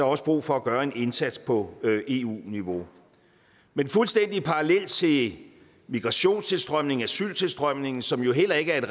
også brug for at gøre en indsats på eu niveau men fuldstændig parallelt til migrationstilstrømningen og asyltilstrømningen som jo heller ikke